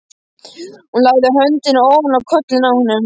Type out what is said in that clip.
Hún lagði höndina ofan á kollinn á honum.